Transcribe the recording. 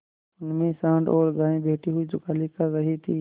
उनमें सॉँड़ और गायें बैठी हुई जुगाली कर रही थी